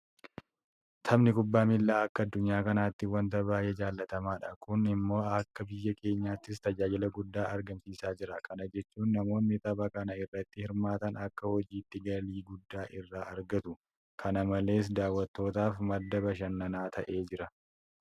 Taphni kubbaa miilaa akka addunyaa kanaatti waanta baay'ee jaalatamaadha. Kun immoo akka biyya keenyaattis tajaajila guddaa argamsiisaa jira. Kana jechuun namoonni tapha kana irratti hirmaatan akka hojiitti galii guddaa irraa argatu. Kana malees daawwattootaaf madda bashannanaa ta'ee jira.